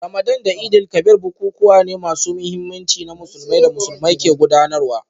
Ramadan da Eid-el-Kabir bukukuwa ne masu muhimmanci na Musulunci da Musulmai ke gudanarwa